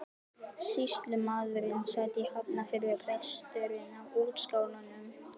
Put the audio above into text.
Sýslumaðurinn sat í Hafnarfirði og presturinn á Útskálum.